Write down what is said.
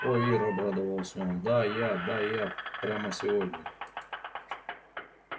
ой ир обрадовался он да я да я прямо сегодня